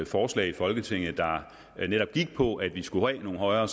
forslag i folketinget der netop gik på at vi skulle have nogle højere